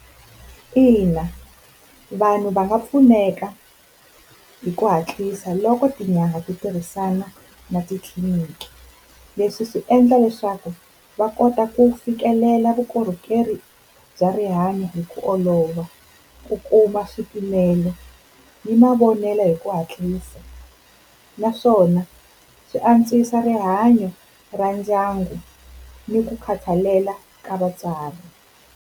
Ina, vanhu va nga pfuneka hi ku hatlisa loko tinyanga ti tirhisana na titliliniki. Leswi swi endla leswaku va kota ku fikelela vukorhokeri bya rihanyo hi ku olova, ku kuma swipimelo ni mavonelo hi ku hatlisa naswona swi antswisa rihanyo ra ndyangu ni ku khathalela ka vatswari.